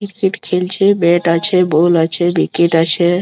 Cricket খেলছে bat আছে ball আছে উইকেট আছে।